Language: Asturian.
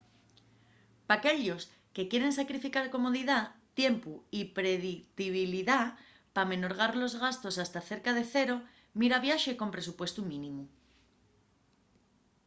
p’aquellos que quieren sacrificar comodidá tiempu y predictibilidá p’amenorgar los gastos hasta cerca de cero mira viaxe con presupuestu mínimu